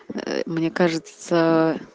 мне кажется